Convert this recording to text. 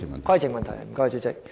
規程問題，主席。